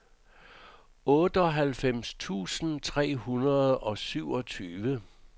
otteoghalvfems tusind tre hundrede og syvogtyve